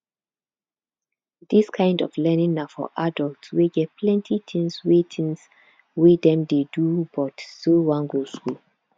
this kind of learning na for adult wey get plenty things wey things wey dem dey do but still wan go school